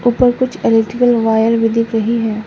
ऊपर कुछ electrical wire भी दिख रही है।